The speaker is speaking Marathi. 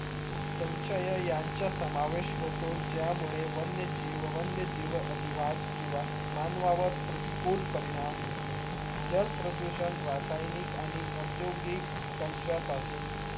संचय यांचा समावेश होतो ज्यामुळे वन्य जीव वन्य जीव अधिवास किंवा मानवा वर प्रतीककूल परिणाम होतो जल प्रदूषण रासायनिक आणि औधगिक त्यांच्या पासून